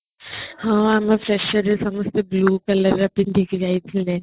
ହଁ ଆମ ପ୍ରସାଦ ସବ୍ୟ bio parlourରେ ପିନ୍ଧିକି ଯାଇଥିଲେ